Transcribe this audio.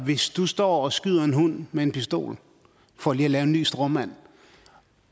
hvis du står og skyder en hund med en pistol for lige at lave en ny stråmand